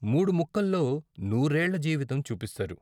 మూడు ముక్కల్లో నూరేళ్ళ జీవితం చూపిస్తారు.